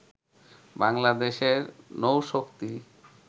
বাংলাদেশের নৌশক্তি